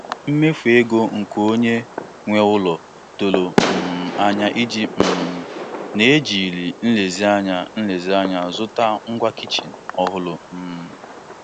O ji nlezianya O ji nlezianya dezie ego o chekwabere maka iji zụta friji ọhụrụ site n'ịkwụ ụgwọ nkeji nkeji.